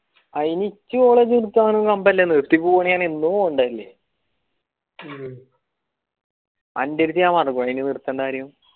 അയിന് എനിച്ച അവിടെ നിർത്താൻ